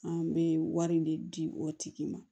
An bɛ wari in de di o tigi ma